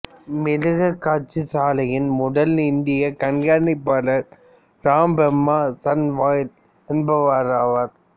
மிருகக்காட்சிசாலையின் முதல் இந்திய கண்காணிப்பாளர் ராம் பிரம்மா சன்யால் என்பவராவார்